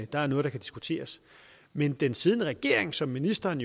der er noget der kan diskuteres men den siddende regering som ministeren